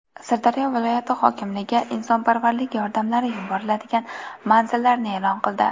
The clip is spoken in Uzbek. Sirdaryo viloyati hokimligi insonparvarlik yordamlari yuboriladigan manzillarni e’lon qildi.